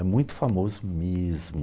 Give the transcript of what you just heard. É muito famoso mesmo.